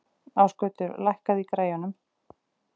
Ásgautur, lækkaðu í græjunum.